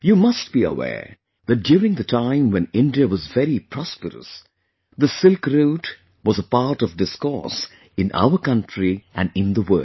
You must be aware that duringthe time when India was very prosperous, the Silk Route was a part of discourse in our country and in the world